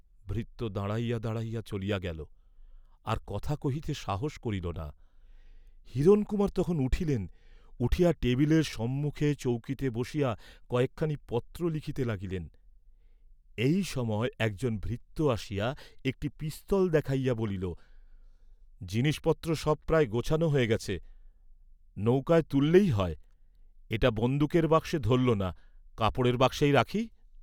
ভৃত্য দাঁড়াইয়া দাঁড়াইয়া চলিয়া গেল, আর কথা কহিতে সাহস করিল না। হিরণকুমার তখন উঠিলেন, উঠিয়া টেবিলের সম্মুখে চৌকিতে বসিয়া কয়েকখানি পত্র লিখিতে লাগিলেন, এই সময়ে একজন ভৃত্য আসিয়া একটি পিস্তল দেখাইয়া বলিল, "জিনিসপত্র সবই প্রায় গোছানো হয়ে গেছে, নৌকায় তুললেই হয়, এটা বন্দুকের বাক্সে ধরল না, কাপড়ের বাক্সেই রাখি?"